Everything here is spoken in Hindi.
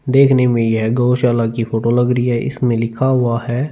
देखने में यह गौशाला की फोटो लग रही है इसमें लिखा हुआ है--